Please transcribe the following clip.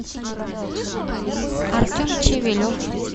артем чивелев